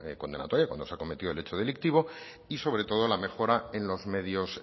condenatoria cuando se ha cometido el hecho delictivo y sobre todo la mejora en los medios